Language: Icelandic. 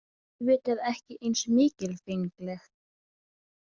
Auðvitað ekki eins mikilfengleg.